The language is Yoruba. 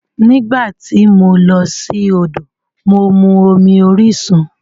Nígbà tí mo lọ sí odò, mo mu omi orisun.